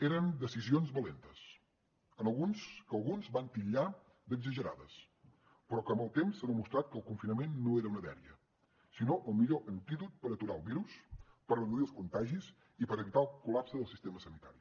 eren decisions valentes que alguns van titllar d’exagerades però que amb el temps s’ha demostrat que el confinament no era una dèria sinó el millor antídot per aturar el virus per reduir els contagis i per evitar el col·lapse del sistema sanitari